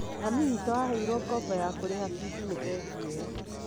Mami witũ aheirũo ngombo ya kũriha fithi nĩ bengi ĩyo